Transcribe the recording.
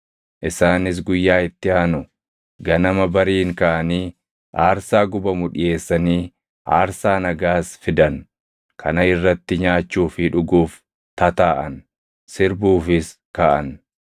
Isaanis guyyaa itti aanu ganama bariin kaʼanii, aarsaa gubamu dhiʼeessanii aarsaa nagaas fidan. Kana irratti nyaachuu fi dhuguuf tataaʼan; sirbuufis kaʼan.